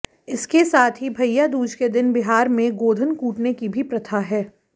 इसके साथ ही भैया दूज के दिन बिहार में गोधन कूटने की भी प्रथा है